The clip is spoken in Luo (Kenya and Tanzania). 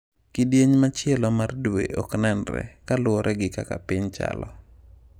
Kidieny machielo mar dwe ok nenre, kaluwore gi kaka piny chalo.